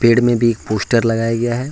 पेड़ में भी पोस्टर लगाया गया है।